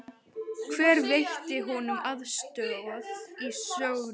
Hver veitti honum aðstoð í söngnum?